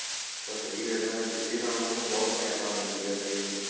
ਤਾਂ ਸਹੀ ਰਹਿੰਦਾ ਜਿਹਦੇ ਨਾਲ ਉਹਨਾ ਨੂੰ ਬਹੁਤ ਸਹਾਇਤਾ ਮਿਲਦੀ ਏ ਤੇ